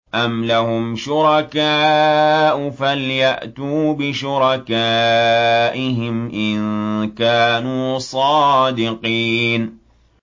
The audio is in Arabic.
أَمْ لَهُمْ شُرَكَاءُ فَلْيَأْتُوا بِشُرَكَائِهِمْ إِن كَانُوا صَادِقِينَ